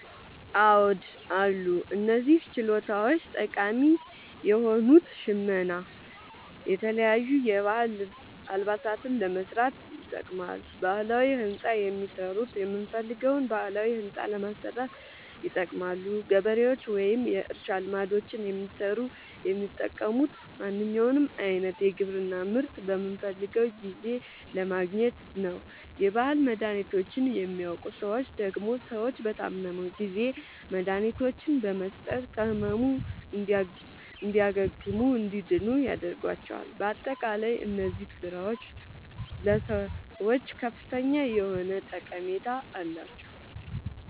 አዎድ አሉ። እነዚህ ችሎታዎች ጠቃሚ የሆኑት ሸመና የተለያዩ የባህል አልባሳትን ለመስራት ይጠቅማሉ። ባህላዊ ህንፃ የሚሠሩት የምንፈልገዉን ባህላዊ ህንፃ ለማሠራት ይጠቅማሉ። ገበሬዎች ወይም የእርሻ ልማዶችን የሚሠሩት የሚጠቅሙት ማንኛዉንም አይነት የግብርና ምርት በምንፈልገዉ ጊዜ ለማግኘት ነዉ። የባህል መድሀኒቶችን የሚያዉቁ ሠዎች ደግሞ ሰዎች በታመሙ ጊዜ መድሀኒቶችን በመስጠት ከህመሙ እንዲያግሙና እንዲድኑ ያደርጓቸዋል። በአጠቃላይ እነዚህ ስራዎች ለሰዎች ከፍተኛ የሆነ ጠቀሜታ አላቸዉ።